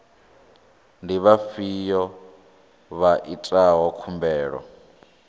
ndi vhafhiyo vha itaho khumbelo